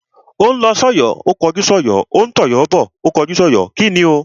Ó ń lọ sọ́yọ̀ ó kọjú sọ́yọ̀, ó ń tọ̀yọ́ bọ̀ ó kọjú sọ́yọ̀. kíni o?